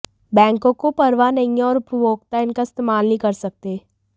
बैंकों को परवाह नहीं है और उपभोक्ता इनका इस्तेमाल नहीं कर सकते